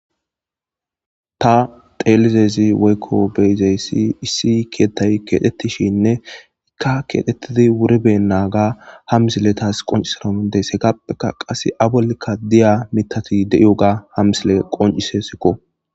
Ta xeelizayssi woykko beizayssi issi kettay kexxetishenne ha kexxetidi wuri benaga ha missiley tasi qonccissanawu dandaides heggapeka qasse a bollika diya miththata deiyoga ha missiley qonccises